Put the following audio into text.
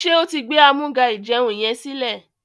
ṣe o tí gbé Amúga-ìjẹun yén silẹ?